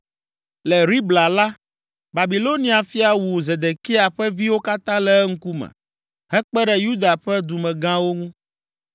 Le Ribla la, Babilonia fia wu Zedekia ƒe viwo katã le eŋkume, hekpe ɖe Yuda ƒe dumegãwo ŋu.